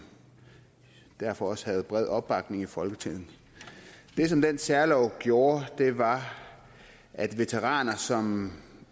derfor også havde bred opbakning i folketinget det som den særlov gjorde var at veteraner som